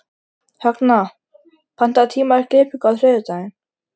Högna, pantaðu tíma í klippingu á þriðjudaginn.